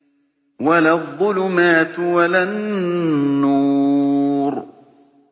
وَلَا الظُّلُمَاتُ وَلَا النُّورُ